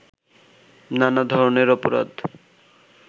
নানা ধরনের অপরাধ